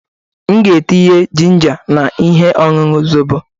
M ga-etinye ginger na ihe ọṅụṅụ zọbọ.